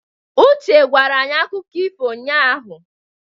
Uche gwara anyị akụkọ ifo ụnyahụ.